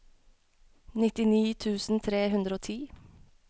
nittini tusen tre hundre og ti